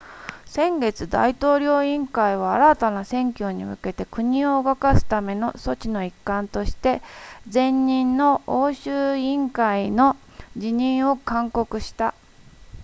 先月大統領委員会は新たな選挙に向けて国を動かすための措置の一環として前任の欧州委員会の辞任を勧告した